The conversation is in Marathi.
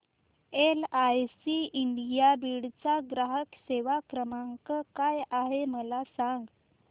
एलआयसी इंडिया बीड चा ग्राहक सेवा क्रमांक काय आहे मला सांग